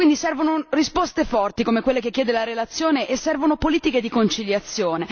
Servono quindi risposte forti, come quelle che chiede la relazione, e servono politiche di conciliazione.